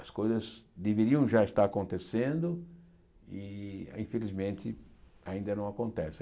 As coisas deveriam já estar acontecendo e, infelizmente, ainda não acontecem.